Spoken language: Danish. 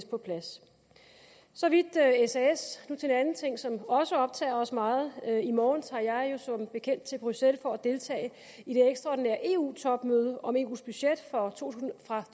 på plads så vidt sas nu til en anden ting som også optager os meget i morgen tager jeg jo som bekendt til bruxelles for at deltage i det ekstraordinære eu topmøde om eus budget for to